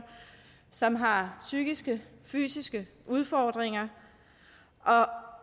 som har psykiske eller fysiske udfordringer når